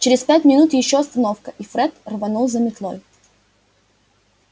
через пять минут ещё остановка и фред рванул за метлой